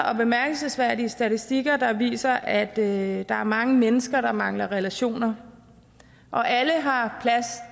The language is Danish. er bemærkelsesværdige statistikker der viser at at der er mange mennesker der mangler relationer alle har ret